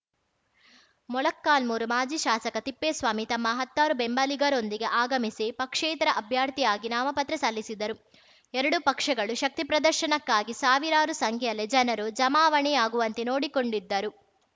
ಮೊಳಕಾಲ್ಮೂರು ಮಾಜಿ ಶಾಸಕ ತಿಪ್ಪೇಸ್ವಾಮಿ ತಮ್ಮ ಹತ್ತಾರು ಬೆಂಬಲಿಗರೊಂದಿಗೆ ಆಗಮಿಸಿ ಪಕ್ಷೇತರ ಆಭ್ಯರ್ಥಿಯಾಗಿ ನಾಮಪತ್ರ ಸಲ್ಲಿಸಿದರು ಎರಡು ಪಕ್ಷಗಳು ಶಕ್ತಿ ಪ್ರದರ್ಶನಕ್ಕಾಗಿ ಸಾವಿರಾರು ಸಂಖ್ಯೆಯಲ್ಲಿ ಜನರು ಜಮಾವಣೆಯಾಗುವಂತೆ ನೋಡಿಕೊಂಡಿದ್ದರು